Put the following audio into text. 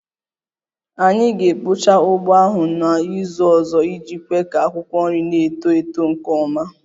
Anyị ga-ekpocha ugbo ahụ n'izu ọzọ iji kwe ka akwụkwọ nri na-eto eto nke ọma